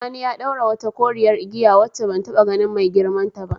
Sani ya daura wata koriyar igiya wacce ban taba ganin mai girman ta ba.